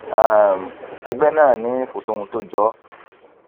um ẹgbẹ náà ni kò sóhun tó jọ ọ